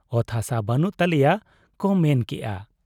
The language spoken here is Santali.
ᱚᱛ ᱦᱟᱥᱟ ᱵᱟᱱᱩᱜ ᱛᱟᱞᱮᱭᱟ ᱠᱚ ᱢᱮᱱ ᱠᱮᱜ ᱟ ᱾